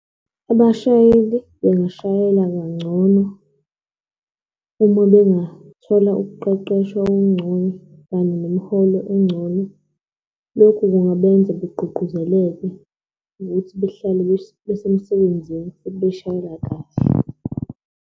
Abashayeli bangashayela kangcono uma bengathola ukuqeqeshwa okungcono kanye nemiholo engcono. Lokhu engabenza begqugquzeleke ukuthi behleli besemsebenzini futhi beshayela kahle.